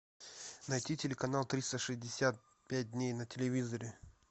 найти телеканал триста шестьдесят пять дней на телевизоре